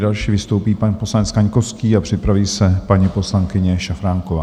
Další vystoupí pan poslanec Kaňkovský a připraví se paní poslankyně Šafránková.